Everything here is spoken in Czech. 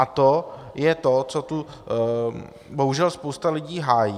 A to je to, co tu bohužel spousta lidí hájí.